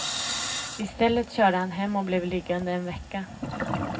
I stället körde han hem och blev liggande en vecka.